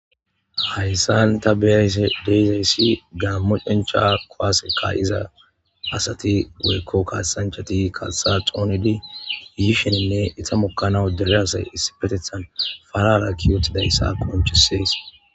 hayssan ta beyashe de'izayssi gaammo cencha kuwase ka'iza asati goykko kaasanchati katha toonidi yishenenne ita mokkanaw dere asay issipetethan falalakki wotidayssa qoncisees